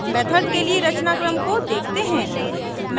method के लिए रचनाक्रम को देखते हैं